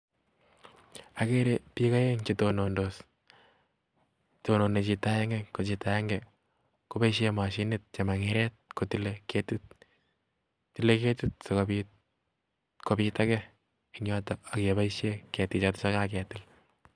Ageere biik oeng chetononos, tonone chito agenge, ko chito agenge koboishien mashinit sukuta kotile ketit, tile ketit sikobitegee ak keboishien keetik ye kaketill